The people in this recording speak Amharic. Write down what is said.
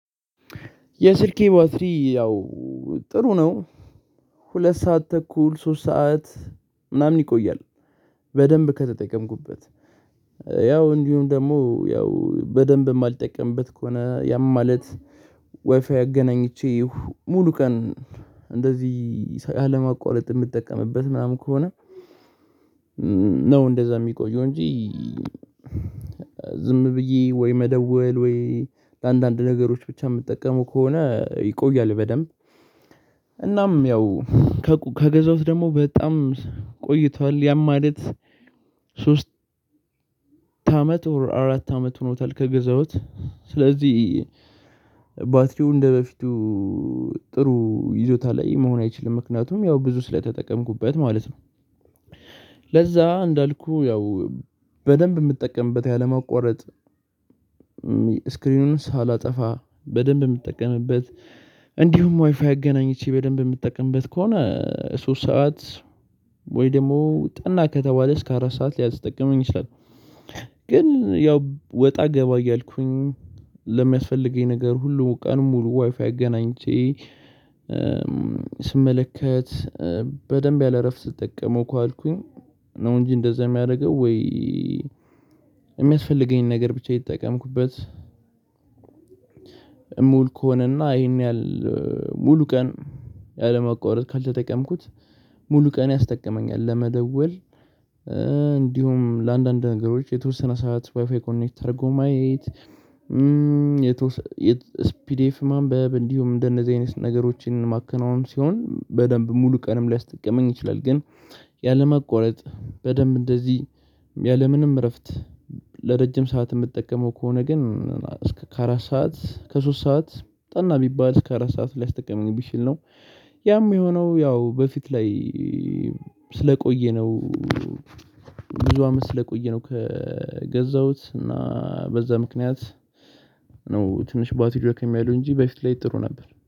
የስልኬ ባትሪ ያው ጥሩ ነው። ሁለት ሰዓት ተኩል ሶስት ሰዓት ምናምን ይቆያል። በደንብ ከተጠቀምኩበት ያው እንዲሁም ደግሞ ያው በደንብ የማልጠቀምበት ከሆነ ያም ማለት ዋይፋይ አገናኝቼ ሙሉ ቀን እንደዚህ አለማቋረጥ የምጠቀምበት ምናምን ከሆነ ነው እንደዛ የሚቆየው እንጂ ዝም ብዬ ወይ መደወል ወይ ለአንዳንድ ነገሮች ብቻ የምጠቀመው ከሆነ ይቆያል በደንብ። እናም ያው ከገዛውት ደግሞ በጣም ቆይቷል ያም ማለት ሶስት አመት ኦር አራት አመት ሆኖታል። ገዛሁት ስለዚህ ባትሪው እንደበፊቱ ጥሩ ይዞታ ላይ መሆን አይችልም ምክንያቱም ያው ብዙ ስለተጠቀምኩበት ማለት ነው። ለዛ እንዳልኩህ ያው በደንብ የምጠቀምበት ያለማቋረጥ ስክሪኑን ሳላጠፋ በደንብ የምጠቀምበት እንዲሁም ዋይፋይ አገናኝቼ በደንብ የምትጠቀምበት ከሆነ ሶስት ሰዓት ወይ ደግሞ ጠና ከተባለ እስከ አራት ሰዓት ሊያስጠቅመኝ ይችላል። ግን ያው ወጣ ገባ እያልኩኝ ለሚያስፈልገኝ ነገር ሁሉ ቀን ሙሉ ዋይፋይ አገናኝቼ ስመለከት በደንብ ያለ እረፍት ስጠቀመው ከዋልኩኝ ነው እንጂ እንደዛ የሚያደርገው ወይ። የሚያስፈልገኝን ነገር ብቻ እየተጠቀምኩበት እምውል ከሆነና ይሄን ያህል ሙሉ ቀን ያለመቆረጥ ካልተጠቀምኩት ሙሉ ቀን ያስጠቅመኛል ለመደወል እንዲሁም ለአንዳንድ ነገሮች የተወሰነ ሰዓት ዋይፋይ ኮኔክት ተደርጎ ማየት። ስፒድ ኤፍ ማንበብ እንዲሁም እንደነዚህ አይነት ነገሮችን ማከናወን ሲሆን በደንብ ሙሉ ቀንም ሊያስጠቅመኝ ይችላል። ግን ያለማቋረጥ በደንብ እንደዚህ ያለምንም እረፍት ለረጅም ሰዓት የምጠቀመው ከሆነ ግን እስከ አራት ሰዓት እስከ ሶስት ሰዓት ጠና ቢባል እስከ አራት ሰዓት ሊያስጠቅመኝ ቢችል ነው። ያም የሆነው ያው በፊት ላይ ስለቆየነው ነው። ብዙ አመት ስለቆየ ነው ከገዛሁት እና በዛ ምክንያት ነው ትንሽ ባትሪው ደከም ያለው እንጂ በፊት ላይ ጥሩ ነበር